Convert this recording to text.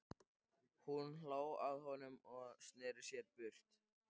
Hún hló að honum og sneri sér burt.